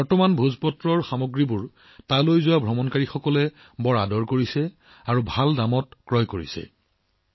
আজি ভোজপাত্ৰৰ উৎপাদিত সামগ্ৰীসমূহ ইয়ালৈ অহা তীৰ্থযাত্ৰীসকলে অতিশয় ভাল পায় আৰু লগতে ভাল দামত ক্ৰয় কৰি আছে